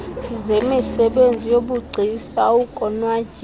zemisebenzi yobugcisa ukonwatyiswa